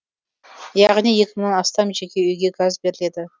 яғни екі мыңнан астам жеке үйге газ беріледі